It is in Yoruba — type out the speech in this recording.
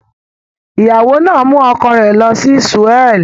The wife took her husband to Seoul